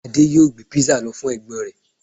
Ade yoo gbé pizza lọ fún ẹ̀gbọ́n rẹ̀